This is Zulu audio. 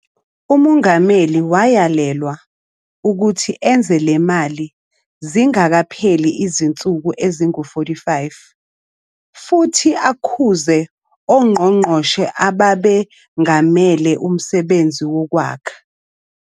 UMongameli wayalelwa ukuthi enze le mali ingakapheli izinsuku ezingama-45 futhi "akhuze" ongqongqoshe ababengamele umsebenzi wokwakha.